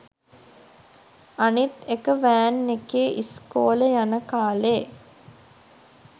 අනිත් එක වෑන් එකේ ඉස්කෝලෙ යන කාලේ